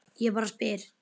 Ég bara spyr!